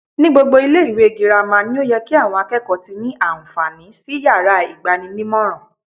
Ní gbogbo ilé ìwé girama ni ó ye ki àwon akékòó ti ní ànfàní sí yàrá ìgbaninímòràn